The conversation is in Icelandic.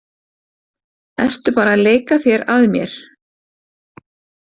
Ertu bara að leika þér að mér?